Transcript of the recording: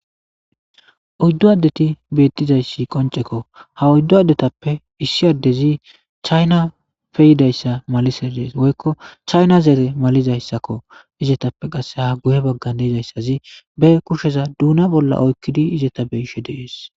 Oydu adeti betiza qoncceko ha oydu adetape issi adezi chanape yidaysa malises woyko chana zere malizaysako izetape guye bagara ba kusheza duna bolla oykidi eretes